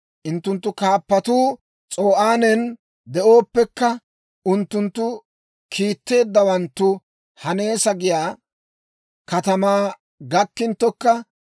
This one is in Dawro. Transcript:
Unttunttu kaappatuu S'o'aanen de'ooppekka, unttunttu kiitteeddawanttu Haneesa giyaa katamaa gakkinttokka,